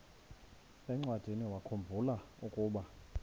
encwadiniwakhu mbula ukuba